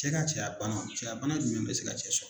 Cɛ ka cɛyabana, cɛyabana jumɛn bɛ se ka cɛ sɔrɔ.